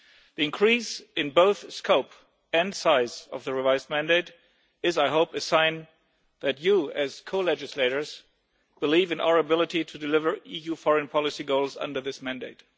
The increase in both scope and size of the revised mandate is, I hope, a sign that you as co legislators believe in our ability to deliver EU foreign policy goals under this mandate.